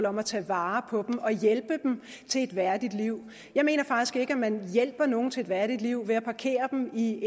om at tage vare på dem og hjælpe dem til et værdigt liv jeg mener faktisk ikke at man hjælper nogen til et værdigt liv ved at parkere dem i